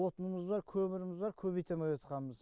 отынымыз бар көміріміз бар көбейте амай отқанбыз